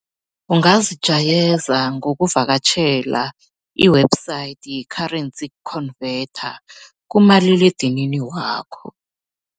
Ungazijayeza ngokuvakatjhela i-website ye-currency converter kumaliledinini wakho.